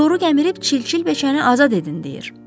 Toru gəmirib çilçil beçəni azad edin deyir.